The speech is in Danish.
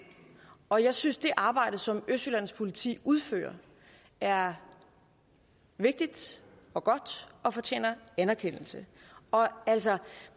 og jeg synes at det arbejde som østjyllands politi udfører er vigtigt og godt og fortjener anerkendelse altså